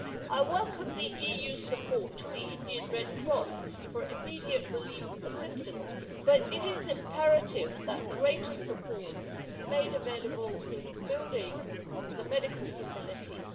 I welcome the EU's support to the Indian Red Cross for immediate relief assistance, but it is imperative that greater support is made available for building medical facilities.